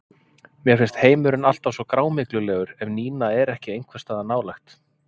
Mér finnst heimurinn alltaf svo grámyglulegur ef Nína er ekki einhvers staðar nálægt.